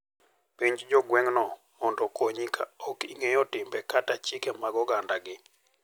Penj jo gweng'no mondo okonyi ka ok ing'eyo timbe kata chike mag ogandagi.